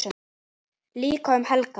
Líka um helgar.